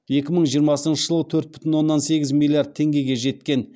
екі мың жиырмасыншы жылы төрт бүтін оннан сегіз миллиард теңгеге жеткен